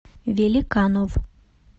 великанов